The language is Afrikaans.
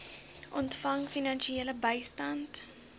ontvang finansiële bystand